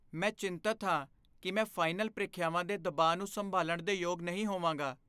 ਮੈਂ ਚਿੰਤਤ ਹਾਂ ਕਿ ਮੈਂ ਫਾਈਨਲ ਪ੍ਰੀਖਿਆਵਾਂ ਦੇ ਦਬਾਅ ਨੂੰ ਸੰਭਾਲਣ ਦੇ ਯੋਗ ਨਹੀਂ ਹੋਵਾਂਗਾ।